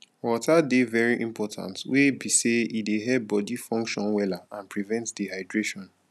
water dey very important wey be say e dey help body function wella and prevent dehydration